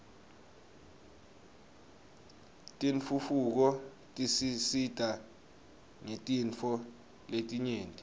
tentfutfuko tisisita ngetintfo letinyenti